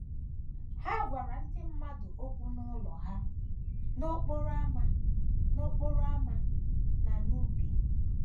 Ha gwara ndị mmadụ okwu n’ụlọ ha, n’okporo ámá, n’okporo ámá, na n’ubi.